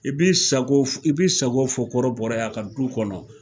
I bi sako fɔ kɔrɔbɔrɔ ye a ka du kɔnɔ.